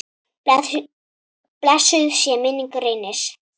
Blessuð sé minning Reynis.